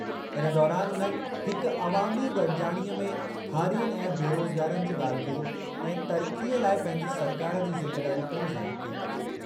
इन दौरानि उन्हनि हिकु अवामी गॾिजाणीअ में हारियुनि ऐं बेरोज़गारनि जी ॻाल्हि कई ऐं तरक़ीअ लाइ पंहिंजी सरकारि जी ज़िमेदारी पिणु ज़ाहिरु कई।